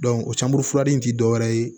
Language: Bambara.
o caman fura in tɛ dɔwɛrɛ ye